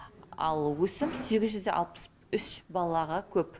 ал өсім сегіз жүз де алпыс үш балаға көп